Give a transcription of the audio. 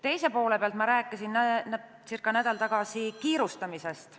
Teise poole pealt rääkisin ma circa nädal tagasi kiirustamisest.